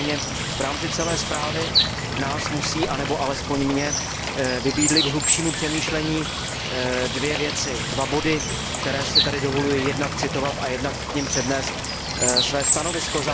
Nicméně v rámci celé zprávy nás musí, anebo alespoň mě, vybídnout k hlubšímu přemýšlení dvě věci, dva body, které si tady dovoluji jednak citovat a jednak k nim přednést své stanovisko.